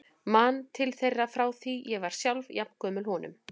Man til þeirra frá því ég var sjálf jafn gömul honum.